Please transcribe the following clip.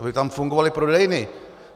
Aby tam fungovaly prodejny.